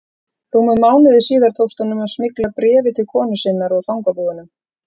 Rúmum mánuði síðar tókst honum að smygla bréfi til konu sinnar úr fangabúðunum.